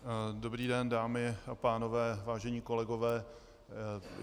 Dobrý den, dámy a pánové, vážení kolegové.